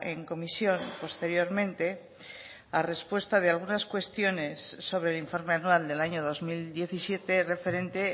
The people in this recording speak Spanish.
en comisión posteriormente a respuesta de algunas cuestiones sobre el informe anual del año dos mil diecisiete referente